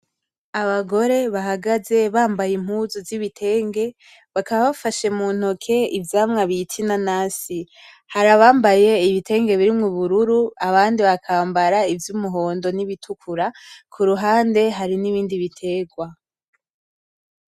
Abagore bahagaze bambaye impuzu z'ibitenge bakaba bafashe mu ntoke ivyamwa bita inanasi hari abambaye ibitenge birimwo ubururu abandi bakambara ivy'umuhondo n'ibitukura ku ruhande hari n'ibindi biterwa.